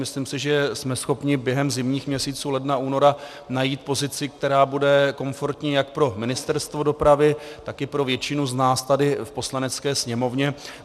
Myslím si, že jsme schopni během zimních měsíců, ledna, února, najít pozici, která bude komfortní jak pro Ministerstvo dopravy, tak i pro většinu z nás tady v Poslanecké sněmovně.